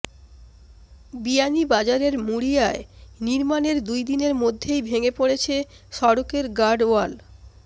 বিয়ানীবাজারের মুড়িয়ায় নির্মাণের দুইদিনের মধ্যেই ভেঙ্গে পড়েছে সড়কের গার্ডওয়াল